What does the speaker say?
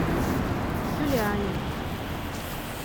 юлиане